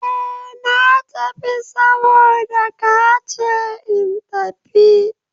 Eh! Na tafi saboda ka ce in tafi.